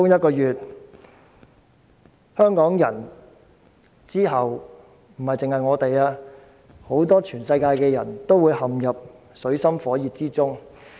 不止香港人，全世界很多人之後也會陷入水深火熱之中。